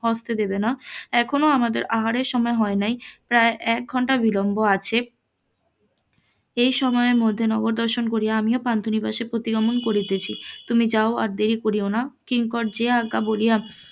হস্তে দেবে না এখন আমাদের আহারের সময় হয় নাই প্রায় এক ঘন্টা বিলম্ব আছে, এই সময়ে মধ্যে নগর দর্শন করিয়া আমি পান্থ নিবাসে প্রতি গমন করিতেছি তুমি যাও আর দেরি করিও না কিঙ্কর যে আজ্ঞা বলিয়া,